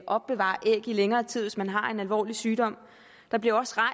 opbevare æg i længere tid udvides hvis man har en alvorlig sygdom der bliver også fra